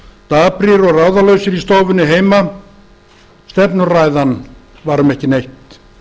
daprir og ráðalausir í stofunni heima stefnuræðan var um ekki neitt